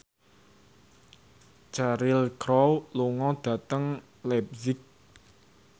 Cheryl Crow lunga dhateng leipzig